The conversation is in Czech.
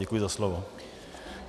Děkuji za slovo.